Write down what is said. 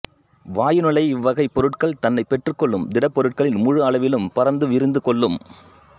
வாயு நிலை இவ்வகை பொருள்கள் தன்னை பெற்றுக்கொள்ளும் திடப்பொருட்களின் முழு அளவிலும் பரந்து விரிந்துக் கொள்ளும்